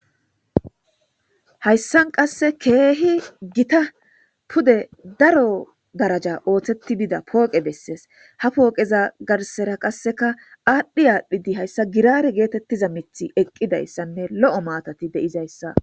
Hayssan qasse keehi gitta pude daro daraja ooththetti bida pooqe bessees ha pooqeza garsera qasseka aadhdhi aadhdhidi hayssa giraare geetettiza miiththi eqqidayssanne lo'o maatati de'izayssa